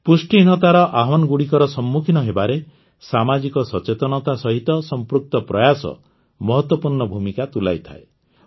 ପୁଷ୍ଟିହୀନତାର ଆହ୍ୱାନଗୁଡ଼ିକର ସମ୍ମୁଖୀନ ହେବାରେ ସାମାଜିକ ସଚେତନତା ସହିତ ସଂପୃକ୍ତ ପ୍ରୟାସ ମହତ୍ୱପୂର୍ଣ୍ଣ ଭୂମିକା ତୁଲାଇଥାଏ